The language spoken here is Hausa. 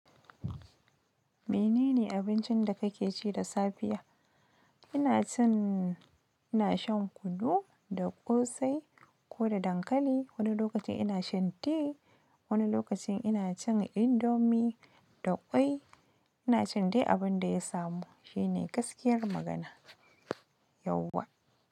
Menene abincin da kake ci da safiya? Ina cin, ina shan kunu da ƙosai ko da dankali. Wani lokacin ina shan ti, wani lokacin ina cin indomi da kwai. Ina cin dai abin da ya samu. Shi ne gaskiyar magana. Yauwa.